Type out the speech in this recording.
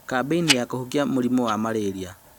Kambĩini ya kũhukia mũrimũ wa Marĩria